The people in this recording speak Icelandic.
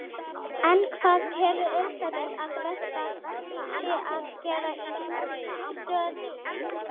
En hvað telur Elísabet að best sé að gera í stöðunni?